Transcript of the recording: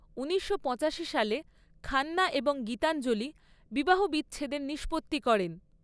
ঊনিশশো পঁচাশি সালে খান্না এবং গীতাঞ্জলি বিবাহবিচ্ছেদের নিষ্পত্তি করেন।